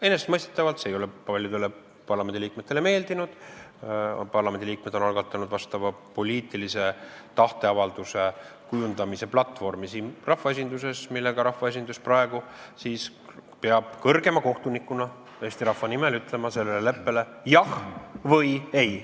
Enesestmõistetavalt ei ole see paljudele parlamendiliikmetele meeldinud, parlamendiliikmed on algatanud vastava poliitilise tahteavalduse kujundamise platvormi siin rahvaesinduses, millega rahvaesindus praegu peab kõrgema kohtunikuna Eesti rahva nimel ütlema sellele leppele jah või ei.